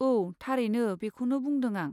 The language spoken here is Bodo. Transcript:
औ, थारैनो बेखौनो बुंदों आं।